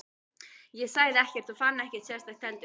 Ég sagði ekkert og fann ekkert sérstakt heldur.